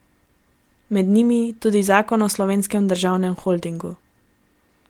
Med njimi tudi zakon o Slovenskem državnem holdingu.